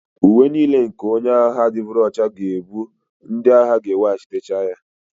Uwe niile nke onye agha adịgboroja ga-abụ ndị agha ga-eweghachite ya